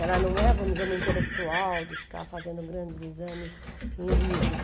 Ela não é, vamos dizer, uma intelectual de ficar fazendo grandes exames em livros.